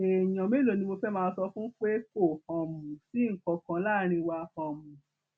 èèyàn mélòó ni mo fẹẹ máa sọ fún pé kò um sí nǹkan kan láàrin wa um